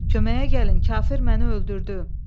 Köməyə gəlin, kafir məni öldürdü.